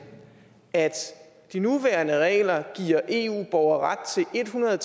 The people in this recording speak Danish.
at de nuværende regler giver eu borgere ret til en hundrede